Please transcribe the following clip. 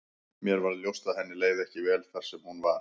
Mér varð ljóst að henni leið ekki vel þar sem hún var.